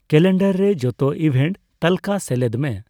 calendar ᱨᱮ ᱡᱚᱛᱚ event ᱛᱟᱞᱠᱟᱹ ᱥᱮᱞᱮᱫ ᱢᱮ